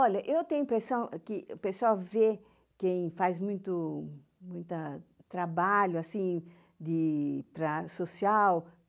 Olha, eu tenho a impressão que o pessoal vê quem faz muito, muita trabalho, assim, de para social.